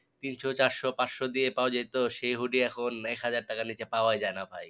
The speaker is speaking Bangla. তিনশো চারশো পাঁচশো দিয়ে পাওয়া যেতো সে hoodie এখন এক হাজার টাকার নিচে পাওয়ায়ই যায় না ভাই